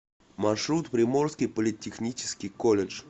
маршрут приморский политехнический колледж